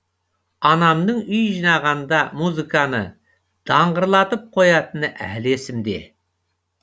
анамның үй жинағанда музыканы даңғырлатып қоятыны әлі есімде